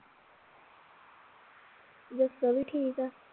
ਜੱਸੋ ਵੀ ਠੀਕ ਆ